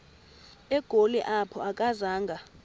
egoli apho akazanga